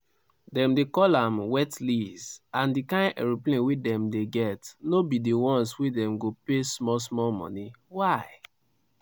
"dem dey call am wet lease and di kain aeroplane wey dem dey get no be di ones wey dem go pay small small money why?